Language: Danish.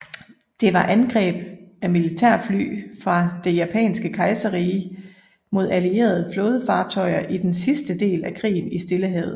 Det var angreb af militærfly fra det japanske kejserrige mod allierede flådefartøjer i den sidste del af krigen i Stillehavet